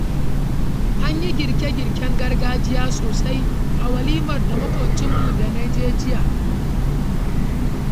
An yi girke-girken gargajiya sosai a walimar maƙwabcinmu da na je jiya.